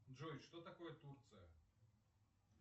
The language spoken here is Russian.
джой что такое турция